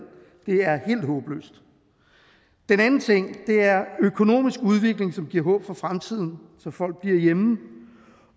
det er helt håbløst den anden ting er økonomisk udvikling som giver håb for fremtiden så folk bliver hjemme